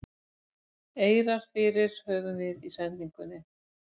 eirar fyrir höfum í sendingunni